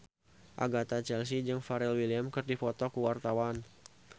Agatha Chelsea jeung Pharrell Williams keur dipoto ku wartawan